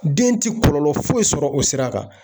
Den ti kɔlɔlɔ foyi foyi sɔrɔ o sira kan